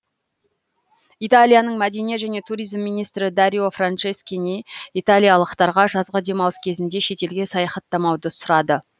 италияның мәдениет және туризм министрі дарио франческини италиялықтарға жазғы демалыс кезінде шетелге саяхаттамауды сұрады